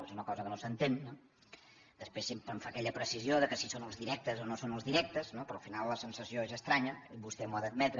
és una cosa que no s’entén no després sempre em fa aquella precisió que si són els directes o no són els directes però al final la sensació és estranya vostè m’ho ha d’admetre